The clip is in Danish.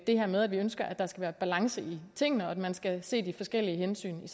det her med at vi ønsker at der skal være balance i tingene og at man skal se de forskellige hensyn